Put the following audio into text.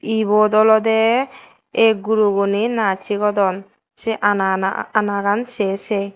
ibot olodey ei guroguney naaj sigodon sei anana anagan sey sey.